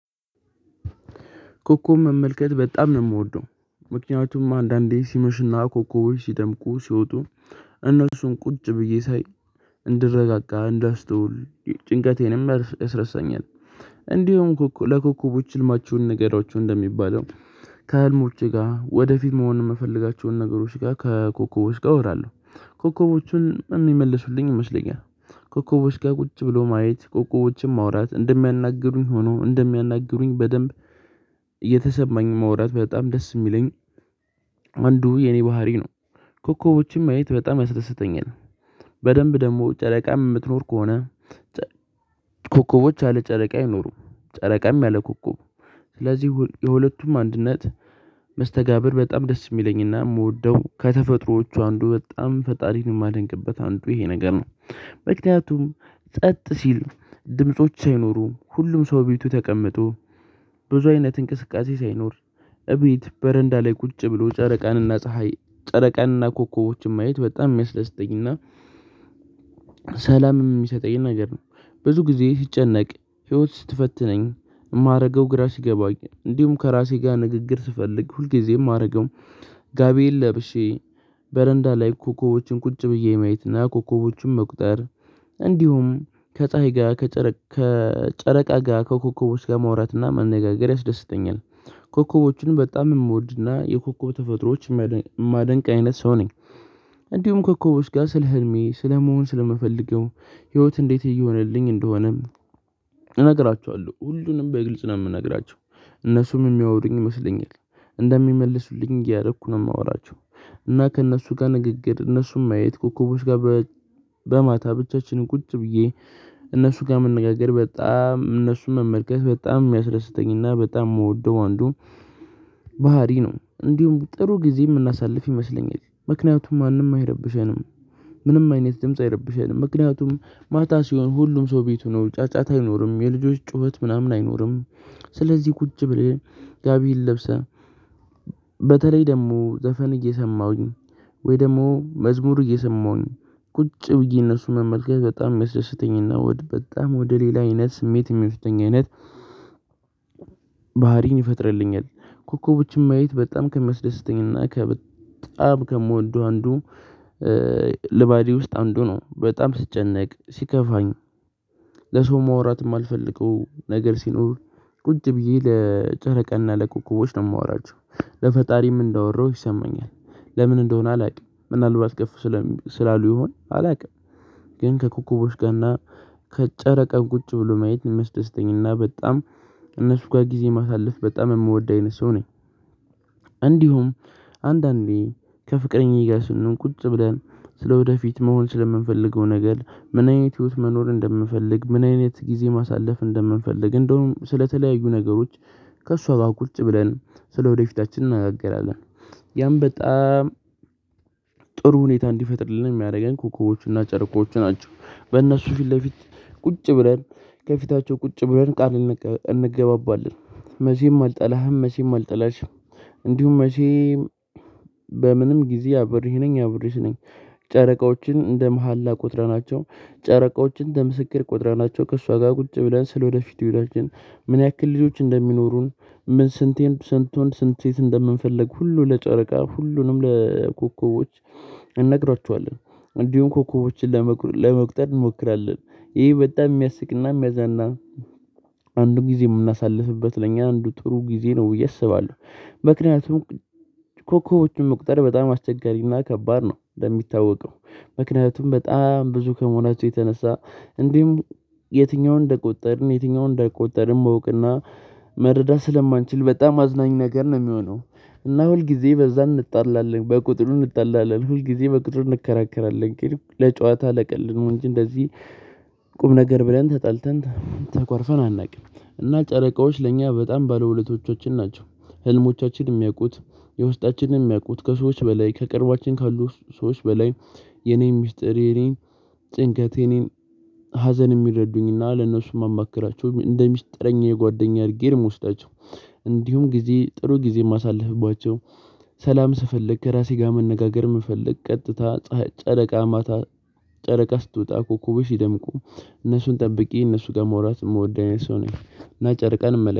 ኮኮብ መመልከት በጣም ነው የምወደው። ምክንያቱም አንዳንዴ ሲመሽና ኮከቦች ሲደምቁ ሲወጡ። እነሱን ቁጭ ብዬ ሳይ እንድረጋጋ እንዳስተውል ጭንቀቴንም አስረሳኛል። እንዲሁም ለኮኮቦች ህልማችሁን ንገሯችሁ እንደሚባለው። ከህልሞቼ ጋር ወደፊት መሆን የምፈልጋቸውን ነገሮች ጋር ከኮከቦች ጋር እወራለሁ ኮከቦቹም የሚመልሱልኝ ይመስለኛል። ኮከቦች ጋር ቁጭ ብሎ ማየት ኮከቦችን ማውራት እንደሚያናግሩኝ ሆኖ እንደሚያናግሩኝ በደንብ እየተሰማኝ ማውራት በጣም ደስ የሚለኝ። አንዱ የኔ ባህሪ ነው። ኮከቦችን ማየት በጣም ያስደስተኛል። በደንብ ደግሞ ጨረቃም የምትኖር ከሆነ ኮከቦች ያለ ጨረቃ አይኖሩም። ጨረቃም ያለ ኮኮብ። ስለዚህ የሁለቱም አንድነት መስተጋብር በጣም ደስ የሚለኝና የምወደው ከተፈጥሮዎቹ አንዱ በጣም ፈጣሪን የማደንቅበት አንዱ ይሄ ነገር ነው። ምክንያቱም ጸጥ ሲል ድምጾች ሳይኖሩ ሁሉም ሰው ቤቱ ተቀምጦ ብዙ አይነት እንቅስቃሴ ሳይኖር። እቤት በረንዳ ላይ ቁጭ ብሎ ጨረቃንና ፀሀይ ጨረቃንና ኮከቦችን ማየት በጣም የሚያስደስተኝና ሰላምም የሚሰጠኝ ነገር ነው። ብዙ ጊዜ ስጨነቅ ህይወት ስትፈትነኝ የማደርገው ግራ ሲገባኝ እንዲሁም ከራሴ ጋር ንግግር ስፈልግ ሁልጊዜም አማደርገው ጋቢየን ለብሼ በረንዳ ላይ ኮከቦችን ቁጭ ብዬ ማየትና ኮከቦችን መቁጠር። እንዲሁም ከፀሀይ ጋር ከጨረቃ ጋር ከኮከቦች ጋር ማውራትና መነጋገር ያስደስተኛል። ኮከቦችን በጣም የምወድና የኮከብ ተፈጥሮዎች እማደንቅ አይነት ሰው ነኝ። እንዲሁም ኮከቦች ጋር ስለ ህልሜ ስለመሆን ስለምፈልገው ህይወት እንዴት እየሆነልኝ እንደሆነም እነግራቸዋለሁ ሁሉንም በግልጽ ነው የምነግራቸው። እነሱም የሚያወሩኝ ይመስለኛል እንደሚመልሱልኝ እያደረኩ ነው የማወራቸው። እና ከእነሱ ጋር ንግግር እነሱም ማየት ኮኮቦች ጋር በማታ ብቻችንን ቁጭ ብዬ እነሱ ጋር መነጋገር በጣም እነሱን መመልከት በጣም የሚያስደስተኝና በጣም የምወደው አንዱ። ባህሪ ነው እንዲሁም ጥሩ ጊዜ የምናሳልፍ ይመስለኛል ምክንያቱም ማንም አይረብሸንም። ምንም አይነት ድምጽ አይረብሸንም ምክንያቱም ማታ ሲሆን ሁሉም ሰው ቤት ሆኖ ጫጫታ አይኖርም የልጆች ጩኸት ምናምን አይኖርም። ስለዚህ ቁጭ ብለህ ጋቢህን ለብሰህ በተለይ ደግሞ ዘፈን እየሰማሁኝ ወይ ደግሞ መዝሙር እየሰማሁኝ ቁጭ ብዬ እነሱን መመልከት በጣም የሚያስደስተኝና ወደ በጣም ወደ ሌላ አይነት ስሜት የሚወስደኝ አይነት። ባህሪን ይፈጥርልኛል። ኮኮቦችን ማየት በጣም ከሚያስደስተኝና ከበጣም ከምወደው አንዱ ልማዴ ውስጥ አንዱ ነው። በጣም ስጨነቅ ሲከፋኝ ለሰው ማውራት የማልፈልገው ነገር ሲኖር ቁጭ ብዬ ለጨረቃና ለኮኮቦች ነው የማወራቸው ለፈጣሪም እንዳወራሁት ይሰማኛል። ለምን እንደሆነ አላውቅም ምናልባት ከፍ ስላሉ ይሆን አላውቅም። ግን ከኮኮቦች ጋርና ከጨረቃን ቁጭ ብሎ ማየት የሚያስደስተኝና በጣም እነሱ ጋር ጊዜ ማሳለፍ በጣም የምወድ አይነት ሰው ነኝ። እንዲሁም አንዳንዴ ከፍቅረኛዬ ጋር ስንሆን ቁጭ ብለን ስለወደፊት መሆን ስለምንፈልገው ነገር ምን አይነት ህይወት መኖር እንደምንፈልግ ምን አይነት ጊዜ ማሳለፍ እንደምንፈልግ እንደውም ስለተለያዩ ነገሮች ከእሷ ጋር ቁርጭ ብለን ስለወደፊታችን እንነጋገራለን። ያም በጣም ሁኔታ እንዲፈጥርልን የሚያደርገን ኮኮቦቹና ጨረቆቹ ናቸው። በእነሱ ፊት ለፊት ቁጭ ብለን ከፊታቸው ቁጭ ብለን ቃል እንገባባለን። መቼም አልጠላህም መቼም አልጠላሽም። እንዲሁም መቼ በምንም ጊዜ አብሬህ ነኝ አብሬሽ ነኝ። ጨረቃዎችን እንደ መሃላ ቆጥረናቸው ናቸው ጨረቃዎችን እንደ መስክር ቆጥረናቸው ከእሷ ጋር ቁጭ ብለን ስለወደፊቱ ህይወታችን። ምን ያክል ልጆች እንደሚኖሩን ምን ስንት ስንት ወንድ ስንት ሴት እንደምንፈልግ ሁሉ ለጨረቃ ሁሉንም ለኮከቦች እንነግራቸዋለን። እንዲሁም ኮከቦችን ለመቁጠር እንሞክራለን። ይሄ በጣም የሚያስቅና የሚያዝናና አንዱን ጊዜ የምናሳልፍበት ለእኛ አንዱ ጥሩ ጊዜ ነው ብዬ አስባለሁ። ምክንያቱም ኮከቦችን መቁጠር በጣም አስቸጋሪና ከባድ ነው እንደሚታወቀው። ምክንያቱም በጣም ብዙ ከመሆናችሁ የተነሳ እንዲሁም የትኛውን እንደቆጠርን የትኛውን እንዳልቆጠርን ማወቅና መረዳት ስለማንችል በጣም አዝናኝ ነገር ነው የሚሆነው። እና ሁልጊዜ በዛ እንጣላለን በቁጥሩ እንጣላለን ሁልጊዜ በቁጥር እንከራከራለን ግን ለጨዋታ ለቀልድ ነው እንጂ እንደዚህ ቁም ነገር ብለን ተጣልተን ተኳርፈን አናውቅም። እና ጨረቃዎች ለእኛ በጣም ባለውለቶቻችን ናቸው። ህልሞቻችን የሚያውቁት የውስጣችንን የሚያውቁት ከሰዎች በላይ ከቅርቧችን ካሉ ሰዎች በላይ የኔን ሚስጥር የኔን ጭንቀ የኔን ሀዘን የሚረዱኝና ለነሱ የማማክራቸው እንደ ሚስጥረኛ የጓደኛ እርጌ ነው ምወስዳቸው። እንዲሁም ጊዜ ጥሩ ጊዜ ማሳለፍባቸው። ስፈልግ ከራሴ ጋር መነጋገር መፈልግ ቀጥታ ጨረቃ ማታ ጨረቃ ስትወጣ ኮኩቡች ሲደምቁ እነሱን ጠብቄ እነሱ ጋር መውራት የምወደኝ ሰው ነኝ እና ጨረቃን እመለ